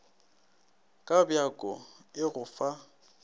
ka bjako e go fa